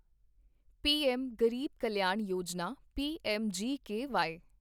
PM Garib Kalyan Yojana PMGKY